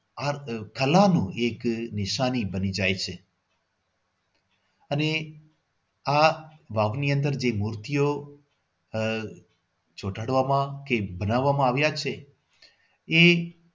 આ કળાનું એક નિશાની બની જાય છે. અને આ વાવની અંદર એ મૂર્તિઓ આહ ચોટાડવામાં એ બનાવવમાં આવ્યા છે એ